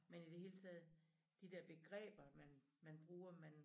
Men i det hele taget de dér begreber man man bruger man